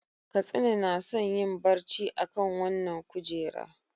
Katsina na son yin barci akan wannan kujera.